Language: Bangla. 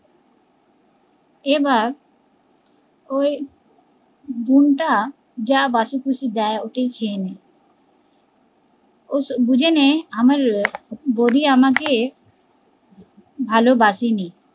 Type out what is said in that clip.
এবার ওই বোন টা যা বাসিকুশি দেয়, ওটাই খেয়ে নেয় ও বুঝেনি আমার বৌদি আমাকে ভালোবাসেনি